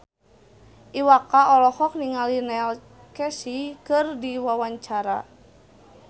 Iwa K olohok ningali Neil Casey keur diwawancara